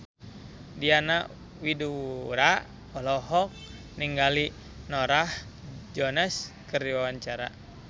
Diana Widoera olohok ningali Norah Jones keur diwawancara